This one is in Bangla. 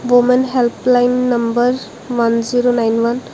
Women helpline number one zero nine one.